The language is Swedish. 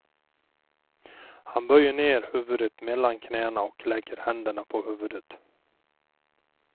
Han böjer ner huvudet mellan knäna och lägger händerna på huvudet.